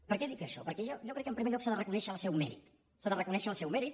per què dic això perquè jo crec que en primer lloc s’ha de reconèixer el seu mèrit s’ha de reconèixer el seu mèrit